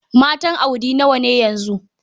Matan Audi nawa ne yanzu?